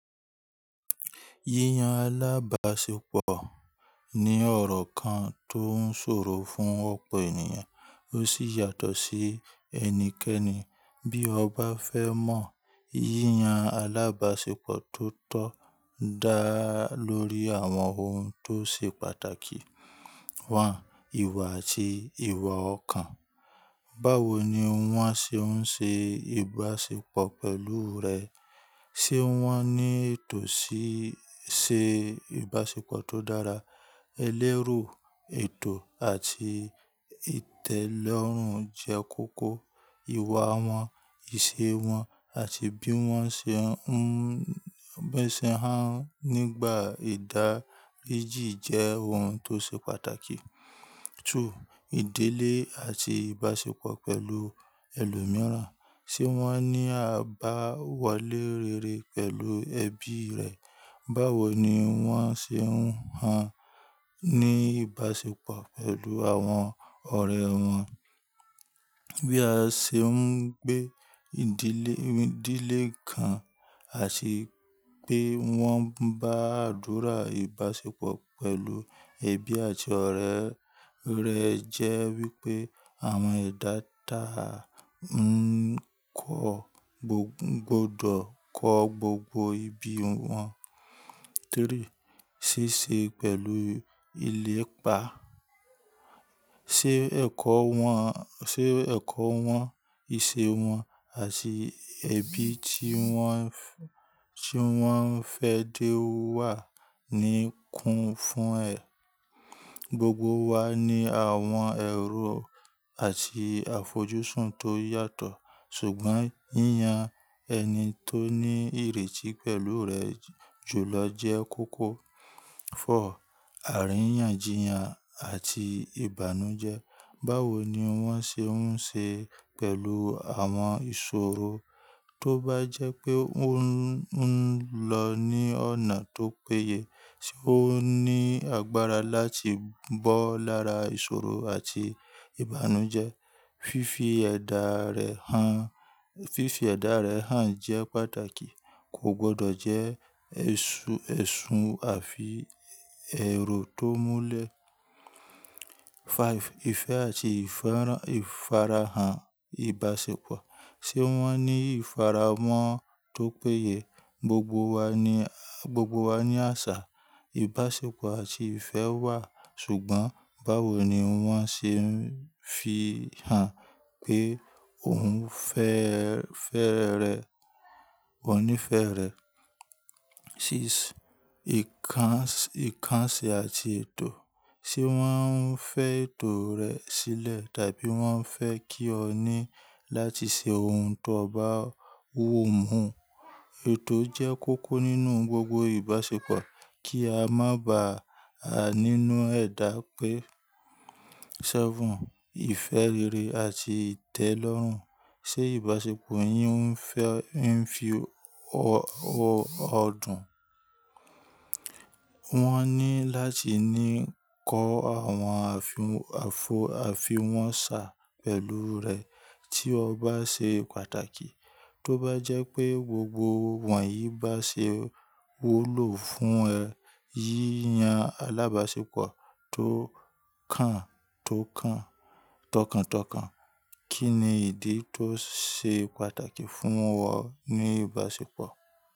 Yíyan alábàṣepọ̀ ní ọ̀rọ̀ kan tó ń ṣòro fún ọ̀pọ̀ ènìyàn, ó sì yàtọ̀ sí ẹni kẹ́ẹ̀nì. Bí o bá fẹ́ mọ yíyan alábàṣepọ̀ tó tọ́ dá lórí àwọn ohun tó ṣe pàtàkì. Ìwà àti ìwà ọ̀kan. Báwo ni wọ́n ṣe ń ṣe ìbáṣepọ̀ pẹ̀lú rẹ? Ṣé wọ́n ní ètò ṣíṣe ìbáṣepọ̀ tó dára? Elérò, ètò àti ìtẹ́lọ́rùn jẹ́ kókó. Ìwà wọn, ìṣe wọn àti bí wọ́n ṣe ń bi won se há wọn nígbà ìdá. Jẹ́ ohun tó ṣe pàtàkì. Ìdílé àti ìbáṣepọ̀ pẹ̀lú ẹlòmíràn. Ṣé wọ́n ní àbáwọlé rere pẹ̀lú ẹbí rẹ̀? Báwo ni wọ́n ṣe ń há ní ìbáṣepọ̀ pẹ̀lú àwọn ọ̀rẹ́ wọn? Bí a ṣe ń gbé ìdílé kan àti pé wọ́n bá àdúrà ìbáṣepọ̀ pẹ̀lú ẹbí àti ọ̀rẹ́ rẹ jẹ́ wípé àwọn edá da ń kọ ko tun gbọdọ̀ kọ gbogbo ibi wọn. Ṣíṣe pẹ̀lú ilé ìpa. Ṣé ẹ̀kọ́ wọn, ṣe ẹ̀kọ́ wọn, ìṣe wọn àti ẹbí tí wọ́n, tí wọ́n fẹ́ dé wà ní kún fún ẹ. Gbogbo wa ní àwọn èrò àti àfojúsùn tó yàtọ̀, ṣùgbọ́n yíyan ẹni tó ní ìrètí pẹ̀lú rẹ jùlọ jẹ́ kókó. Àríyànjiyàn àti ìbànújẹ́. Báwo ni wọ́n ṣe ń ṣe pẹ̀lú àwọn ìṣòro? Tóbá jẹ́ pé ó ń lọ ní ọ̀nà tó péye. Ṣé ó ní agbára láti bọ́ lára ìṣòro àti ìbànújẹ́? Fifi ẹ̀dá rẹ̀ hàn, fifi ẹ̀dá rẹ̀ hàn jẹ́ pàtàkì. Kò gbọdọ̀ jẹ́ ẹ̀sùn àfi èrò tó múlẹ̀. Ìfẹ́ àti ìfarahàn ìbáṣepọ̀. Ṣé wọ́n ní ìfarahàn tó péye? Gbogbo wa ní, gbogbo wa ní àṣà, ìbáṣepọ̀ àti ìfẹ́ wà, ṣùgbọ́n báwo ni wọ́n ṣe ń fi hàn pé ò ń fẹ́ rẹ̀, o níí fẹ́ rẹ̀. Ìkànsí àti ètò. Ṣé wọ́n fẹ́ ètò rẹ sílẹ̀ tàbí wọ́n fẹ́ kí o ní láti ṣe ohun tó bá wò mú? Ètò jẹ́ kókó nínú gbogbo ìbáṣepọ̀ kí a má ba à nínú ẹ̀dá pé. Ìfẹ́ rere àti ìtẹ́lọ́rùn. Ṣé ìbáṣepọ̀ yìí ń fi ọdùn? Wọ́n ní láti ní kọ́ àwọn àfi àfi wọn sà pẹ̀lú rẹ tí o bá ṣe pàtàkì. Tóbá jẹ́ pé gbogbo wọ̀nyí bá ṣe wu ló fún ẹ. Yíyan alábàṣepọ̀ tó tọkàntọkàn. Kí ni ìdí tó ṣe pàtàkì fún ọ ní ìbáṣepọ̀?